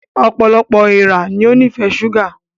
Ọpọlọpọ èèrà ní o nifẹ ṣuga